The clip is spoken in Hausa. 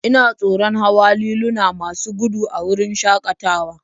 Ina tsoron hawa liluna masu gudu a wurin shakatawa